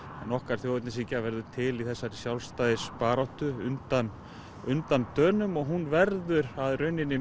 en okkar þjóðernishyggja verður til í sjálfstæðisbaráttu undan undan Dönum og hún verður að rauninni